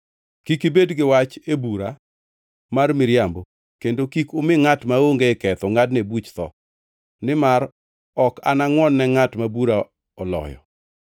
Kik ibed gi wach e bura mar miriambo kendo kik umi ngʼat maonge ketho ngʼadne buch tho, nimar ok anangʼwon ne ngʼat ma bura oloyo.